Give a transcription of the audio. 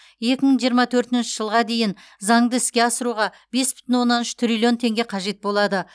екі мың жиырма төртінші жылға дейін заңды іске асыруға бес бүтін оннан үш триллион теңге қажет болады